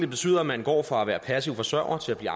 betyder at man går fra at være passiv forsørget til at blive